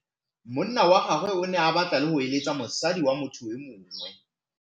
Monna wa gagwe o ne a batla go êlêtsa le mosadi wa motho yo mongwe.